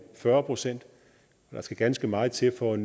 fyrre procent der skal ganske meget til for